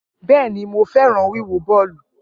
Bẹẹni, Mo fẹran wiwo bọọlu.